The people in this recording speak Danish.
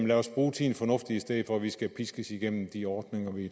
lad os bruge tiden fornuftigt i stedet for at vi skal piskes igennem de ordninger vi